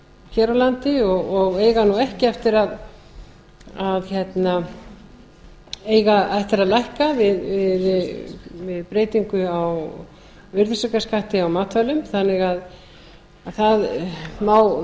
hér á landi og eiga nú ekki eftir að hækka við breytingu á virðisaukaskatti á matvælum þannig að það má